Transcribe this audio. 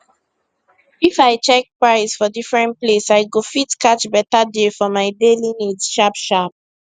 if i check price for different place i go fit catch beta deal for my daily needs sharp sharp